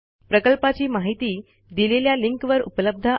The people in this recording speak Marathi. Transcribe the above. प्रकल्पाची माहिती दिलेल्या लिंकवर उपलब्ध आहे